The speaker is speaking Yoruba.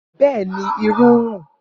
Bẹẹni, iru n run.